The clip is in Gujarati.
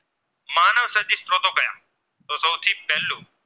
પહેલું